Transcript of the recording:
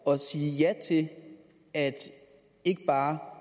at sige ja til at ikke bare